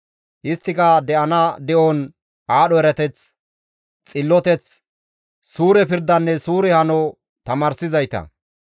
Isttika de7ana de7on aadho erateth, xilloteth, suure pirdanne suure hano tamaarsizayta.